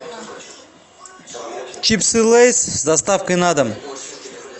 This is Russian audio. чипсы лейс с доставкой на дом